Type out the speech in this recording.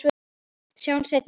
Sjáumst seinna.